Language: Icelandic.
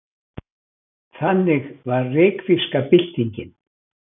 Þannig var reykvíska byltingin.